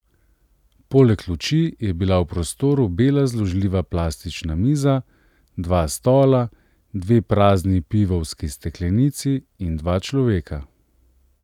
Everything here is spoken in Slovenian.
Poleg luči je bila v prostoru bela zložljiva plastična miza, dva stola, dve prazni pivovski steklenici in dva človeka.